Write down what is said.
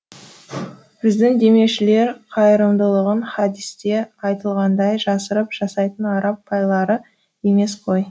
біздің демеушілер қайырымдылығын хадисте айтылғандай жасырып жасайтын араб байлары емес қой